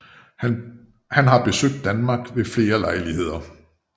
Han har besøgt Danmark ved flere lejligheder